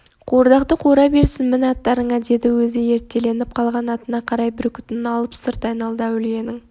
қуырдақты қуыра берсін мін аттарыңа деді өзі ерттеліп қалған атына қарай бүркітін алып сырт айналды әулиенің